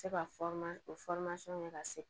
Se ka o kɛ ka se